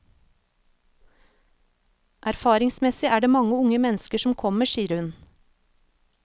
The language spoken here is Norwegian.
Erfaringsmessig er det mange unge mennesker som kommer, sier hun.